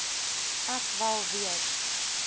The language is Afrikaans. ek wel weet